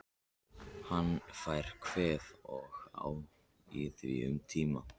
Hann fær kvef og á í því um tíma.